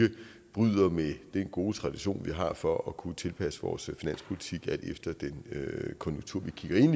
bryder med den gode tradition vi har for at kunne tilpasse vores finanspolitik alt efter den konjunktur vi kigger ind